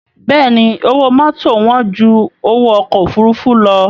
Bẹ́ẹ̀ni owó mọ́tò wán ju owó ọkọ̀ òfuurufú lọ